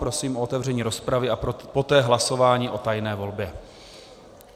Prosím o otevření rozpravy a poté hlasování o tajné volbě